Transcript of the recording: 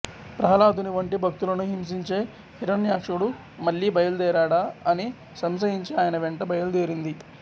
ప్రహ్లాదుని వంటి భక్తులను హింసించే హిరణ్యాక్షుడు మళ్ళీ బయలుదేరాడా అని సంశయించి ఆయన వెంట బయలుదేరింది